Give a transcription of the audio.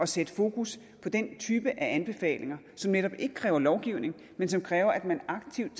sætte fokus på den type af anbefalinger som netop ikke kræver lovgivning men som kræver at man aktivt